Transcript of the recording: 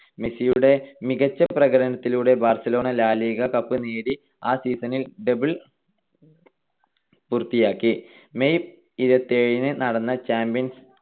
മെസ്സിയുടെ മികച്ച പ്രകടനത്തിലൂടെ ബാർസലോണ ലാ ലിഗ കപ്പ് നേടി ആ season ൽ double പൂർത്തിയാക്കി. May ഇരുപത്തിയേഴിനു നടന്ന ചാമ്പ്യൻസ്